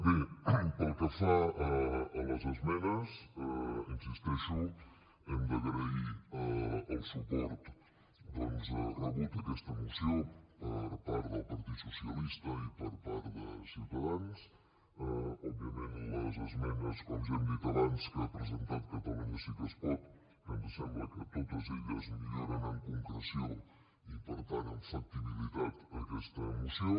bé pel que fa a les esmenes hi insisteixo hem d’agrair el suport doncs rebut a aquesta moció per part del partit socialista i per part de ciutadans òbviament les esmenes com ja hem dit abans que ha presentat catalunya sí que es pot que ens sembla que totes elles milloren en concreció i per tant en factibilitat aquesta moció